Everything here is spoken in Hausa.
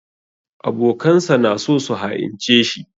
Abokansa na so su ha'ince shi.